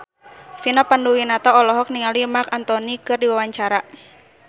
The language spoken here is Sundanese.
Vina Panduwinata olohok ningali Marc Anthony keur diwawancara